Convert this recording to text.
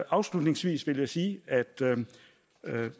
afslutningsvis vil jeg sige at